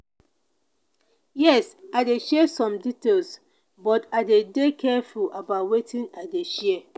yes i dey share some details but i dey dey careful about wetin i dey share.